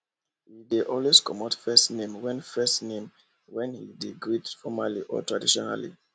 he dey always comot first name when first name when he dey greet formaly or traditionally